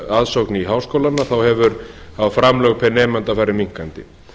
aðsókn i háskólana þá hafa framlög pr nemanda farið minnkandi